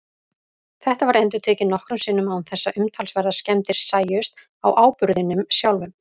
Þetta var endurtekið nokkrum sinnum án þess að umtalsverðar skemmdir sæjust á áburðinum sjálfum.